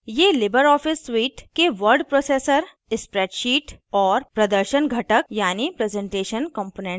ये libreoffice suite suite के word processor spreadsheet और प्रदर्शन घटक हैं